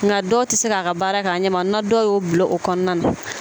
Nka dɔw tɛ se k'a ka baara kɛ a ɲɛ ma na dɔw y'o bila o kɔnɔna na